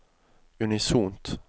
unisont